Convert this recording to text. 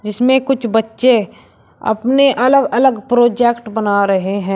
जिसमें कुछ बच्चे अपने अलग अलग प्रोजेक्ट बना रहे हैं।